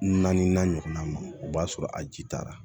Naani n'a ɲɔgɔnna ma o b'a sɔrɔ a ji taara